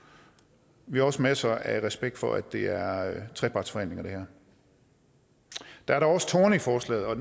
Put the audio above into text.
vi har også masser af respekt for at det her er trepartsforhandlinger der er dog også torne i forslaget og